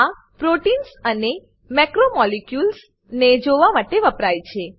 આ proteins proteins અને macromolecules macromolecules ને જોવા માટે વપરાય છે